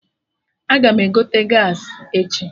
Aga m egote gaasị echi